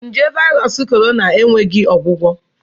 Nje Virus Corona enweghị ọgwụgwọ.